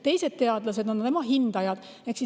Teised teadlased on tema hindajad.